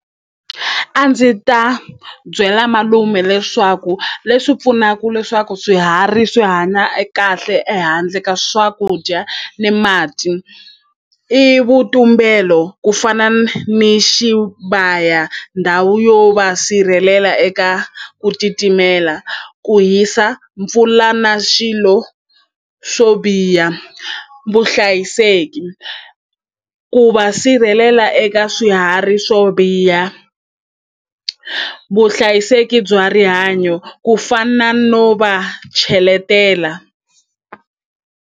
A ndzi ta byela malume leswaku leswi pfunaka leswaku swiharhi swi hanya e kahle ehandle ka swakudya ni mati i vutumbelo ku fana ni xibaya ndhawu yo va sirhelela eka ku titimela ku hisa mpfula na swilo swo biha vuhlayiseki ku va sirhelela eka swiharhi swo biha vuhlayiseki bya rihanyo ku fana no va cheletela.